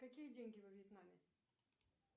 какие деньги во вьетнаме